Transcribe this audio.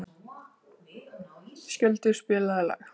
Skjöldur, spilaðu lag.